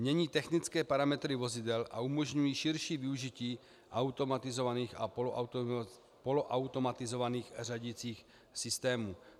Mění technické parametry vozidel a umožňují širší využití automatizovaných a poloautomatizovaných řadicích systémů.